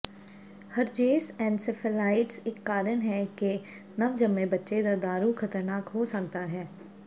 herpes encephalitis ਇੱਕ ਕਾਰਨ ਹੈ ਕਿ ਨਵਜੰਮੇ ਬੱਚੇ ਦਾ ਦਾਰੂ ਖ਼ਤਰਨਾਕ ਹੋ ਸਕਦਾ ਹੈ